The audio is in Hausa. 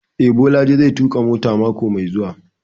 Eh, Bolaji zai tuƙa mota mako mai zuwa